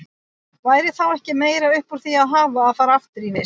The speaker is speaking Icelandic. Væri þá ekki meira upp úr því að hafa að fara aftur í vist?